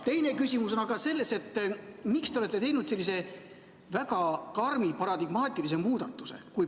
Teine küsimus on selles, et miks te olete teinud sellise väga karmi paradigmaatilise muudatuse.